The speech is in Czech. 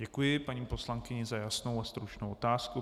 Děkuji paní poslankyni za jasnou a stručnou otázku.